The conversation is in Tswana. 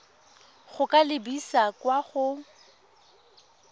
go ka lebisa kwa go